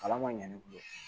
Kalan man ɲɛ ne bolo